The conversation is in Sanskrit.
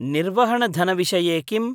निर्वहणधनविषये किम्?